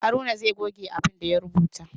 Haruna zai goge abin da ya rubuta.